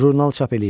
Jurnal çap eləyib.